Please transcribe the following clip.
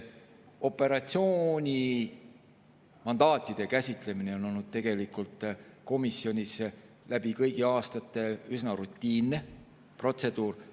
Operatsioonimandaatide käsitlemine on komisjonis läbi kõigi aastate olnud üsna rutiinne protseduur.